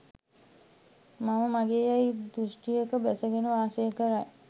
මම මාගේ යැයි දෘෂ්ටියක බැසගෙන වාසය කරයි.